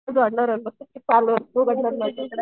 जोडणार ना चालू आहे